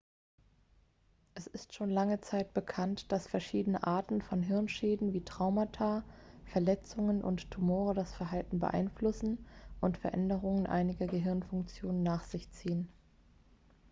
es ist schon lange zeit bekannt dass verschiedene arten von hirnschäden wie traumata verletzungen und tumore das verhalten beeinflussen und veränderungen einiger gehirnfunktionen nach sich ziehen